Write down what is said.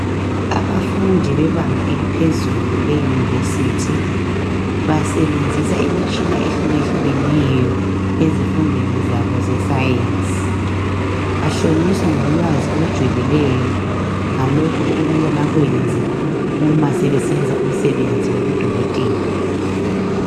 Abafundi bebanga eliphezulu iUniversity basebenzisa imitshina ehluke hlukeneyo ezifundweni zabo zescience bahlonyiswa ngolwazi olujulieyo ngalokho okumele bakwenze umase sebesenza umsebenzi wabo abawufundelayo ukuba ngudokotela